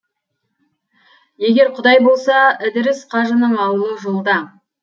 егер құдаи болса ідіріс қажының ауылы жолда